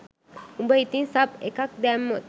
උඹ ඉතින් සබ් එකක් දැම්මොත්